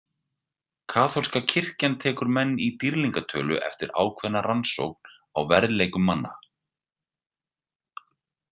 Kaþólska kirkjan tekur menn í dýrlingatölu eftir ákveðna rannsókn á verðleikum manna.